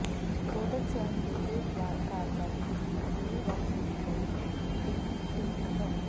ਰੋਧਕ ਸਿਆਹੀ ਦੇ ਉਲਟ ਵਾਲ ਕਾਰਵਾਈ ਦੀ ਇੱਕ ਪੂਰੀ ਵੱਖ ਵਿਧੀ ਲਈ ਇੱਕ ਟੌਿਨਕ ਹੈ